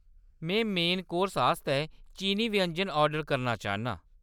में main course आस्तै चीनी व्यंजन ऑर्डर करना चाह्‌‌‌न्नां।